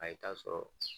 A ye taa sɔrɔ